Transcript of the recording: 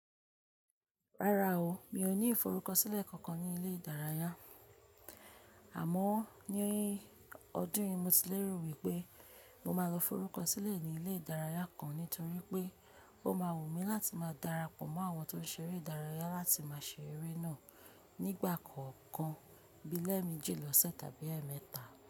Rárá o, mi ò ní ìforúkọsílẹ̀ kankan ní ilé ìdárayá. Àmọ́, ní ọdún yìí mo ti lérò wípé mo máa lọ forúkọsílẹ̀ ní ilé ìdárayá kan nítorí pé ó má wù mí láti máa darapọ̀ mọ́ àwọn tó ń ṣeré ìdárayá láti máa ṣeré náà nígbà kọ̀ọ̀kan. Bí i lẹ́ẹ̀mẹ́jì lọ́sẹ̀ tàbí ẹẹmẹ́ta.